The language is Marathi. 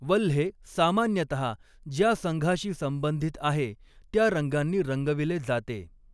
वल्हे सामान्यतः ज्या संघाशी संबंधित आहे त्या रंगांनी रंगविले जाते.